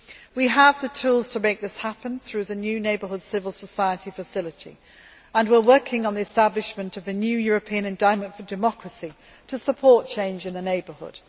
We have the tools to make this happen through the new Neighbourhood Civil Society Facility and we are working on the establishment of a new European Endowment for Democracy to support change in the neighbourhood.